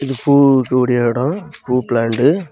பூ கூடிய எடம் பூ பிளான்ட் .